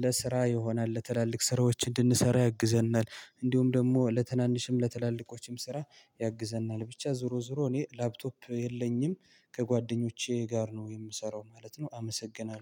ለስራ ይሆናል ለትላልቅ ስራዎች እንድንሰራ ያግዘናል እንዲሁም ደሞ ለትናንሽም ለትላልቆችም ስራ ያግዘናል ብቻ ዞሮ ዞሮ እኔ ላፕቶፕ የለኝም ከጓደኞቼ ጋር ነው የምሰራው ማለት ነው አመሰግናለሁ